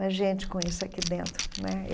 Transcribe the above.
Mas gente com isso aqui dentro né.